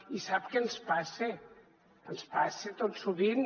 i sap què ens passa ens passa tot sovint